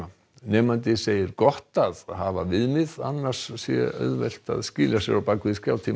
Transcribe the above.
nemandi segir gott að hafa viðmið annars sé auðvelt að skýla sér á bak við